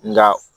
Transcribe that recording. Nka